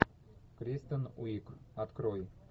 кристен уиг открой